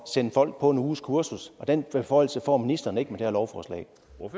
sende folk på et ugekursus den beføjelse får ministeren ikke med det her lovforslag